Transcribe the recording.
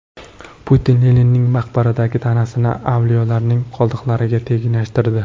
Putin Leninning maqbaradagi tanasini avliyolarning qoldiqlariga tenglashtirdi.